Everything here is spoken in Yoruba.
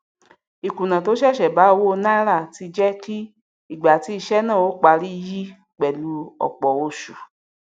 ìkùnà tó ṣẹṣẹ bá owó náírà tí jẹ kí ìgbà tí iṣẹ náà óó parí yi pẹlú ọpọ oṣù